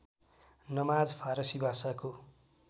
नमाज फारसी भाषाको